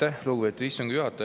Aitäh, lugupeetud istungi juhataja!